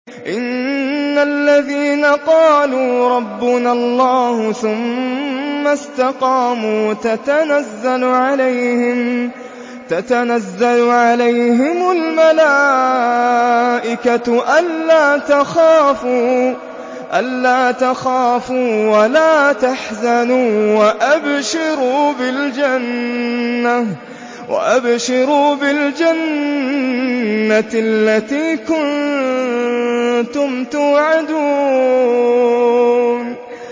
إِنَّ الَّذِينَ قَالُوا رَبُّنَا اللَّهُ ثُمَّ اسْتَقَامُوا تَتَنَزَّلُ عَلَيْهِمُ الْمَلَائِكَةُ أَلَّا تَخَافُوا وَلَا تَحْزَنُوا وَأَبْشِرُوا بِالْجَنَّةِ الَّتِي كُنتُمْ تُوعَدُونَ